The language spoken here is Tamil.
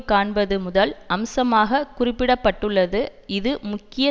காண்பது முதல் அம்சமாகக் குறிப்பிட பட்டுள்ளது இது முக்கிய